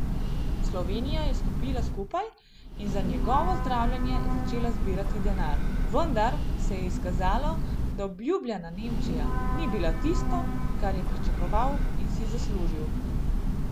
Slovenija je stopila skupaj in za njegovo zdravljenje začela zbirati denar, vendar se je izkazalo, da obljubljena Nemčija ni bila tisto, kar je pričakoval in si zaslužil ...